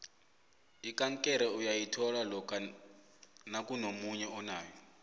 ikankere uyayithola lokha nakunomunye onayo